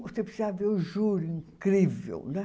Você precisa ver o júri incrível, né?